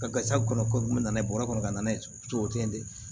Ka gasiwali kɔnɔ ko min na n'a ye bɔrɔ kɔnɔ ka na n'a ye cogo o cogo de